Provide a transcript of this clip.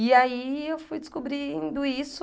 E aí eu fui descobrindo isso